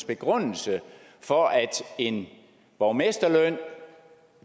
begrundelse for at en borgmesterløn